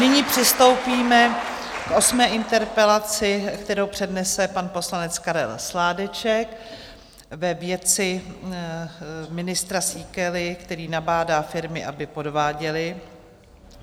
Nyní přistoupíme k osmé interpelaci, kterou přednese pan poslanec Karel Sládeček ve věci ministra Síkely, který nabádá firmy, aby podváděly.